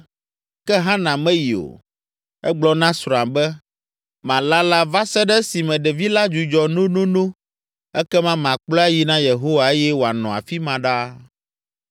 Ke Hana meyi o. Egblɔ na srɔ̃a be, “Malala va se ɖe esime ɖevi la dzudzɔ nonono ekema makplɔe ayi na Yehowa eye wòanɔ afi ma ɖaa.”